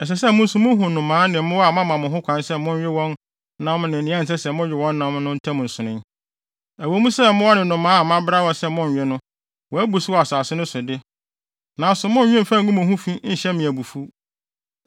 “ ‘Ɛsɛ sɛ mo nso muhu nnomaa ne mmoa a mama mo ho kwan sɛ monwe wɔn nam ne wɔn a ɛnsɛ sɛ mowe wɔn nam no ntam nsonoe. Ɛwɔ mu sɛ mmoa ne nnomaa a mabra sɛ monnnwe no, wɔabu so wɔ asase no so de, nanso monnnwe mfa ngu mo ho fi nhyɛ me abufuw.